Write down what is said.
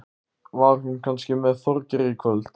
Var hún kannski með Þorgeiri í kvöld?